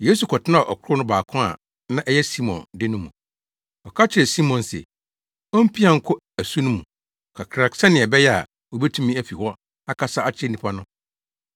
Yesu kɔtenaa ɔkorow no baako a na ɛyɛ Simon de no mu. Ɔka kyerɛɛ Simon se ompia nkɔ asu no mu kakra sɛnea ɛbɛyɛ a, obetumi afi hɔ akasa akyerɛ nnipa no.